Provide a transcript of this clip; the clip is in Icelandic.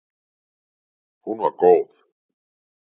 Hún var góð.